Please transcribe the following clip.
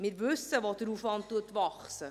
Wir wissen, wo der Aufwand wächst.